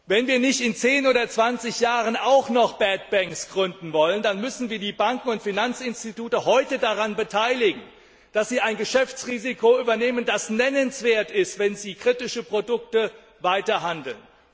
Wenn wir in zehn oder zwanzig Jahren nicht auch noch gründen wollen, dann müssen wir die Banken und Finanzinstitute heute daran beteiligen, dass sie ein Geschäftsrisiko übernehmen, das nennenswert ist, wenn sie weiter mit kritischen Produkten handeln.